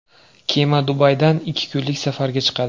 Kema Dubaydan ikki kunlik safarga chiqadi.